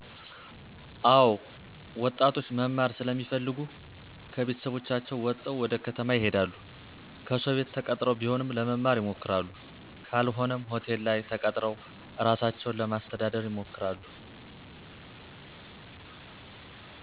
አወ ወጣቶች መማር ስለሚፈልጉ ከቤተሰባቸው ወጠው ወደ ከተማ ይሄዳሉ ከሰው ቤት ተቀጥረው ቢሆንም ለመማር ይሞክራሉ ካልሆነም ሆቴል ላይ ተቀጥረው እራሳቸውን ለማስተዳደር ይሞክራሉ